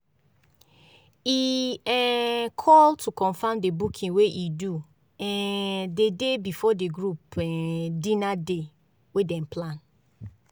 e um call to confirm the booking wey e do um the day before the group um dinner day wey dem plan.